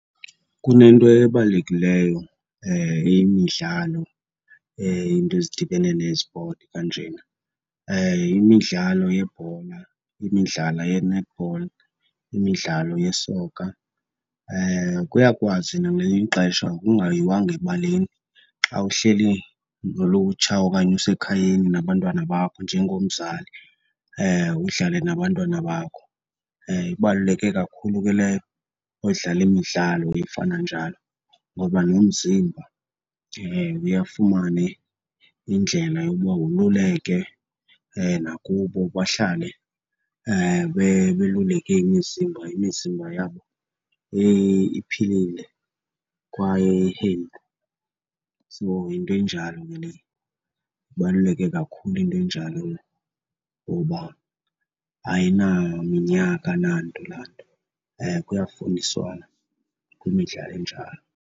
Kunento ebalulekileyo yemidlalo iinto ezidibene nezipoti kanjena, yimidlalo yebhola, imidlalo ye-netball, imidlalo yesoka. Kuyakwazi nangelinye ixesha, kungayiwanga ebaleni, xa uhleli nolutsha okanye usekhayeni nabantwana bakho njengomzali udlale nabantwana bakho. Ibaluleke kakhulu ke leyo, udlale imidlalo efana njalo ngoba nomzimba uye afumane indlela yokuba woluleke. Nakubo bahlale beluleke imizimba, imizimba yabo iphilile kwaye i-healthy. So, yinto enjalo ke leyo. Ibaluleke kakhulu into enjalo ngoba ayinaminyaka nanto laa nto, kuyafundiswana kwimidlalo enjalo.